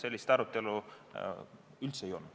Sellist arutelu komisjonis üldse ei olnud.